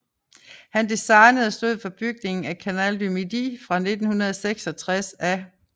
Han designede og stod for bygningen af Canal du Midi fra 1666 af